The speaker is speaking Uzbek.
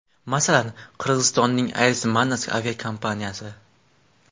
Masalan, Qirg‘izistonning Air Manas aviakompaniyasi.